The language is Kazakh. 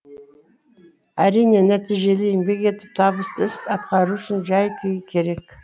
әрине нәтижелі еңбек етіп табысты іс атқару үшін жай күй керек